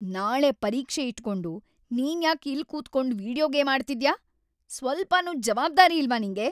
ನಾಳೆ ಪರೀಕ್ಷೆ ಇಟ್ಕೊಂಡು ನೀನ್ಯಾಕ್‌ ಇಲ್ಲ್ ಕೂತ್ಕೊಂಡ್ ವೀಡಿಯೋ ಗೇಮ್ ಆಡ್ತಿದ್ಯಾ? ಸ್ವಲ್ಪನೂ ಜವಾಬ್ದಾರಿ ಇಲ್ವಾ ನಿಂಗೆ?